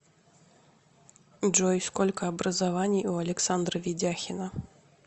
джой сколько образований у александра ведяхина